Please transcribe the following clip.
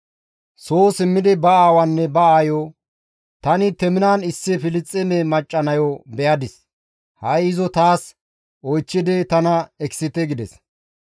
Soo simmidi ba aawaanne ba aayo, «Tani Teminan issi Filisxeeme macca nayo be7adis; ha7i izo taas oychchidi tana ekisite» gides.